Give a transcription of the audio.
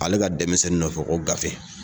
Ale ka denmisɛnnin nɔfɛ ko gafe